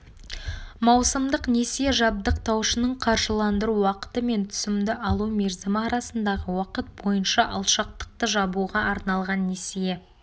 маусымдық несие жабдықтаушының қаржыландыру уақыты мен түсімді алу мерзімі арасындағы уақыт бойынша алшақтықты жабуға арналған несие